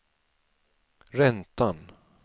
räntan